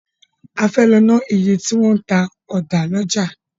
A fẹ́ lọ ná iye tí wọn ń ta ọ̀dà lọ́jà.